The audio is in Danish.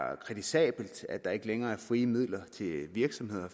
er kritisabelt at der ikke længere er frie midler til virksomheder